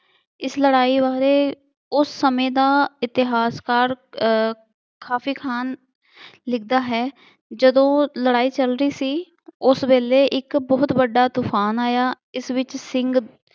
ਇਸ ਲੜਾਈ ਬਾਰੇ ਉਸ ਸਮੇਂ ਦਾ ਇਤਿਹਾਸਕਾਰ ਅਹ ਕਾਫੇ ਖਾਨ ਲਿਖਦਾ ਹੈ ਜਦੋਂ ਲੜਾਂਈ ਚੱਲ ਰਹੀ ਸੀ ਉਸ ਵੇਲੇ ਇੱਕ ਬਹੁਤ ਵੱਡਾ ਤੂਫਾਨ ਆਇਆ ਇਸ ਵਿੱਚ ਸਿੰਘ